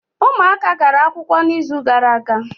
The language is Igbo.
Ụmụaka gara akwụkwọ n’izu gara aga